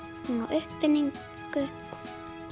uppfinning